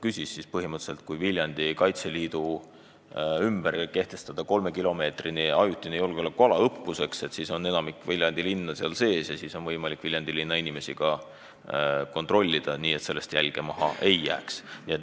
Põhimõtteliselt on nii, et kui näiteks Viljandis Kaitseliidu maleva hoone ümber kehtestada õppuseks kolmekilomeetrine ajutine julgeolekuala, siis on nii, et enamikku Viljandi linna inimesi on võimalik kontrollida nii, et sellest jälge maha ei jää.